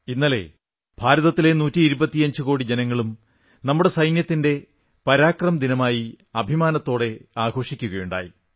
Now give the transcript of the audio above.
ഇന്നലെ ഭാരതത്തിലെ നൂറ്റിയിരുപത്തിയഞ്ചുകോടി ജനങ്ങളും നമ്മുടെ സൈന്യത്തിന്റെ പരാക്രമത്തിന്റെ ദിനമായി അഭിമാനത്തോടെ ആഘോഷിക്കയുണ്ടായി